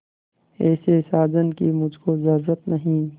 ऐसे साजन की मुझको जरूरत नहीं